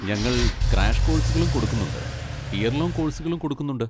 ഞങ്ങൾ ക്രാഷ് കോഴ്സുകളും കൊടുക്കുന്നുണ്ട് ഇയർ ലോങ്ങ് കോഴ്സുകളും കൊടുക്കുന്നുണ്ട്.